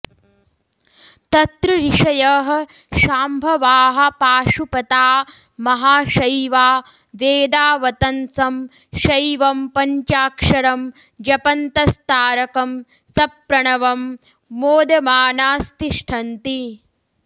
तत्र ऋषयः शाम्भवाः पाशुपता महाशैवा वेदावतंसं शैवं पञ्चाक्षरं जपन्तस्तारकं सप्रणवं मोदमानास्तिष्ठन्ति